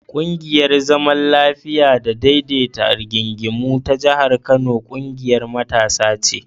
ƙungiyar zaman lafiya da daidaita rigingimu ta jihar Kano ƙungiyar matasa ce.